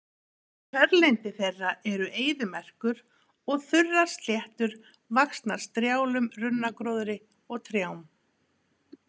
Kjörlendi þeirra eru eyðimerkur og þurrar sléttur vaxnar strjálum runnagróðri og trjám.